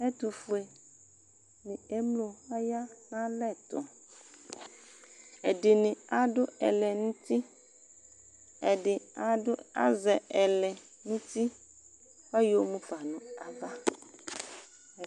Ɛtufue ni emlo aya nʋ alɛtuƐdini adʋ ɛlɛnuti Ɛdi adʋ azɛ ɛlɛnuti, kayɔmufa nʋ ava